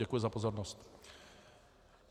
Děkuji za pozornost.